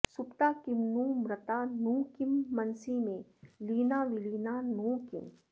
सुप्ता किं नु मृता नु किं मनसि मे लीना विलीना नु किम्